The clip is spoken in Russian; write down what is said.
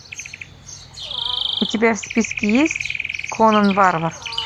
у тебя в списке есть конан варвар